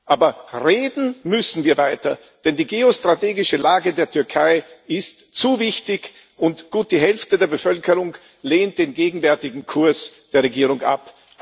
Aber reden müssen wir weiter, denn die geostrategische Lage der Türkei ist zu wichtig, und gut die Hälfte der Bevölkerung lehnt den gegenwärtigen Kurs der Regierung ab.